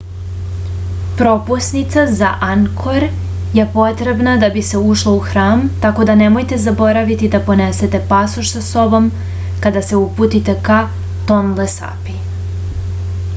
propusnica za angkor je potrebna da bi se ušlo u hram tako da nemojte zaboraviti da ponesete pasoš sa sobom kada se uputite ka tonle sapi